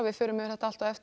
förum yfir þetta allt á eftir